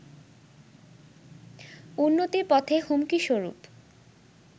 উন্নতির পথে হুমকি স্বরূপ